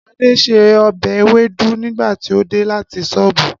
Ade ṣe ọbẹ̀ ewédú nígbà tí ó dé láti sóbù.